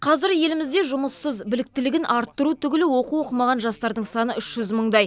қазір елімізде жұмыссыз біліктілігін арттыру түгілі оқу оқымаған жастардың саны үш жүз мыңдай